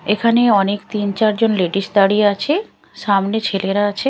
এখানে অনেক তিন চার জন লেডিস দাঁড়িয়ে আছে সামনে ছেলেরা আছে।